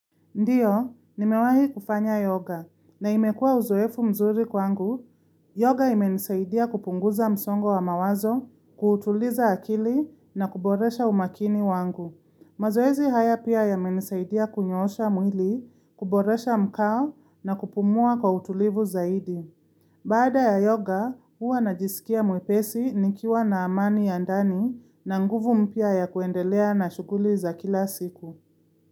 Ndiyo, nimewahi kufanya yoga na imekuwa uzoefu mzuri kwangu. Yoga imenisaidia kupunguza msongo wa mawazo, kuutuliza akili na kuboresha umakini wangu. Mazoezi haya pia yamenisaidia kunyoosha mwili, kuboresha mkao na kupumua kwa utulivu zaidi. Baada ya yoga, huwa najisikia mwepesi nikiwa na amani ya ndani na nguvu mpya ya kuendelea na shuguli za kila siku.